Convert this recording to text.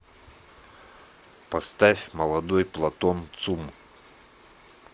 поставь молодой платон цум